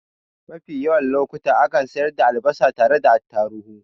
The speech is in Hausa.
Mafi yawan lokuta akan sayar da albasa tare da attatuhu